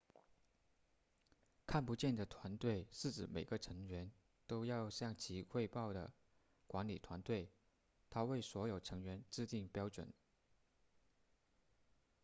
看不见的团队是指每个成员都要向其汇报的管理团队它为所有成员制定标准